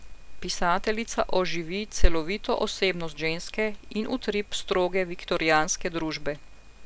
Pisateljica oživi celovito osebnost ženske in utrip stroge viktorijanske družbe.